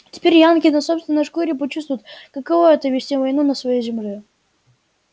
теперь янки на собственной шкуре почувствуют каково это вести войну на своей земле